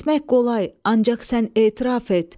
Getmək qolay, ancaq sən etiraf et.